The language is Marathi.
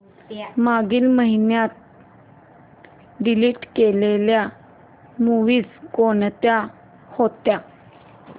मागील महिन्यात डिलीट केलेल्या मूवीझ कोणत्या होत्या